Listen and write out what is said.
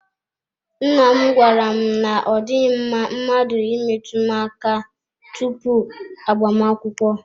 Nna m gwara m na ọ dịghị mma mmadụ imetụ m aka tupu agbamakwụkwọ.